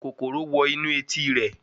Kòkòrò wọ inú etí rẹ̀